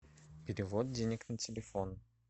перевод денег на телефон